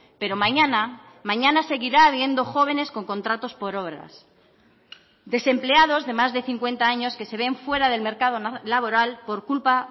pero mañana mañana seguirá habiendo jóvenes con contratos por horas desempleados de más de cincuenta años que se ven fuera del mercado laboral por culpa